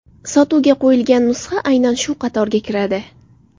Sotuvga qo‘yilgan nusxa aynan shu qatorga kiradi.